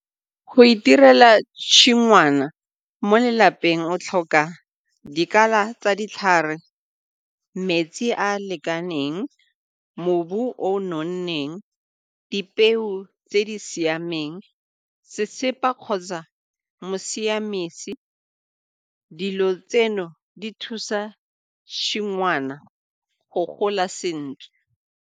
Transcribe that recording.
Go itirela tshingwana mo lelapeng o tlhoka dikala tsa ditlhare, metsi a a lekaneng, mobu o o nonneng, dipeo tse di siameng, sesepa kgotsa mosiamesi, dilo tseno di thusa tshingwana go gola sentle.